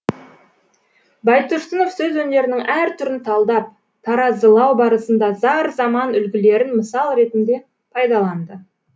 байтұрсынов сөз өнерінің әр түрін талдап таразылау барысында зар заман үлгілерін мысал ретінде пайдаланды